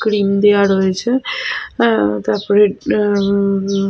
Cream দেওয়া রয়েছে। অ্যা তারপরে অ্যা।